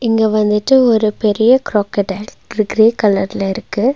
இங்க வந்துட்டு ஒரு பெரிய க்ரொக்கடைல் கிர கிரே கலர்ல இருக்கு.